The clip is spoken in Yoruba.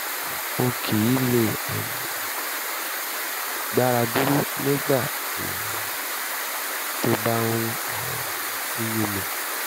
n kì í lè um gbára dúró nígbà um tó bá um ń yún mi